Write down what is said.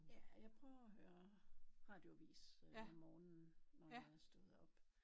Ja jeg prøver at høre radioavis om morgenen når jeg er stået op